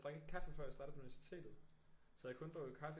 Jeg drak ikke kaffe før jeg startede på universitetet så jeg har kun drukket kaffe